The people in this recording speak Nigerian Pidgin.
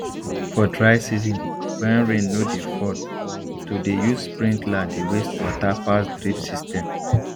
for dry season when rain no dey fall to dey use sprinkler dey waste water pass drip system